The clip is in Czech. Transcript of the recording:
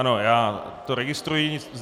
Ano, já to registruji.